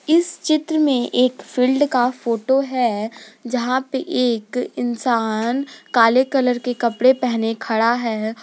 इस चित्र में एक फील्ड का फोटो है जहां पे एक इंसान काले कलर के कपड़े पहने खड़ा है।